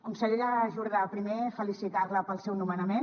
consellera jordà primer felicitar la pel seu nomenament